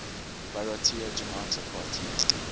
bharatiya janata party